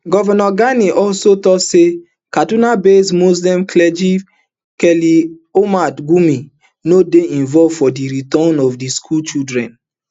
govnor gani also tok say kaduna-based muslim clergy khali uhmad gumi no dey involved for di return of di school children